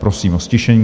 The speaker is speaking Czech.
Prosím o ztišení.